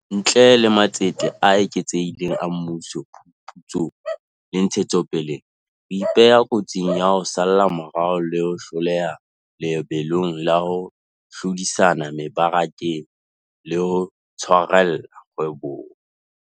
Ntle le matsete a eketsehileng a mmuso phuputsong le ntshetsopeleng, re ipeha kotsing ya ho salla morao le ho hloleha lebelong la ho hlodisana mebarakeng le ho tshwarella kgwebong.